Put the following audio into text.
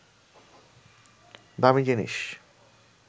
দামি জিনিস